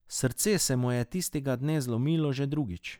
Srce se mu je tistega dne zlomilo že drugič.